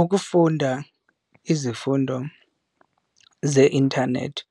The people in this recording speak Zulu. Ukufunda izifundo ze-inthanethi